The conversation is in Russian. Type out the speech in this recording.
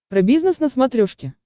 про бизнес на смотрешке